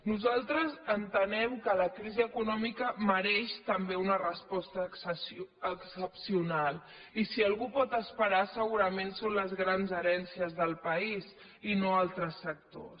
nosaltres entenem que la crisi econòmica mereix també una resposta excepcional i si algú pot esperar segurament són les grans herències del país i no altres sectors